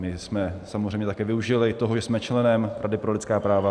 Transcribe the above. My jsme samozřejmě také využili toho, že jsme členem Rady pro lidská práva.